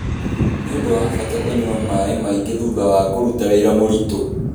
Nĩ ũndũ wa bata kũnyua maĩ maingĩ thutha wa kũruta wĩra mũritũ.